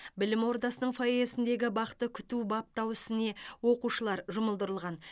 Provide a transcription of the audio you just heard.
білім ордасының фойесіндегі бақты күту баптау ісіне оқушылар жұмылдырылған